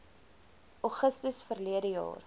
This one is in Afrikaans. augustus verlede jaar